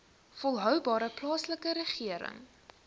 volhoubare plaaslike regering